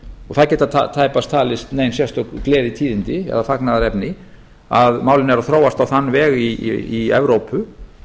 það geta tæpast talist nein sérstök gleðitíðindi eða fagnaðarefni að málin eru að þróast á þann veg í evrópu